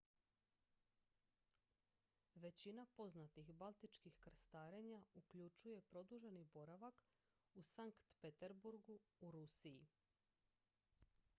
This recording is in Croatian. većina poznatih baltičkih krstarenja uključuju produženi boravak u sankt peterburgu u rusiji